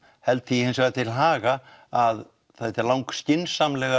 held því hins vegar til haga að það er lang skynsamlegast